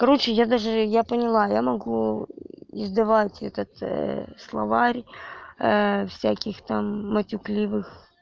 короче я даже я поняла я могу издавать этот словарь всяких там матюкливых